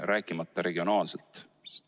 Rääkimata regionaalsest ebavõrdusest.